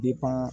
Depi